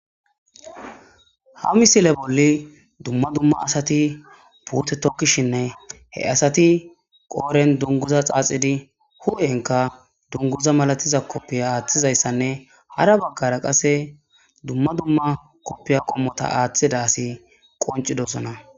ha misile bolli dumma dumma asati puute tokkishinne he asati qooren dunguza xaaxidi hu7enka dunguza malatiza koppiya aaththizayssanne hara baggara qase dumma dumma koppiya qommota aaththidasi qoncidosona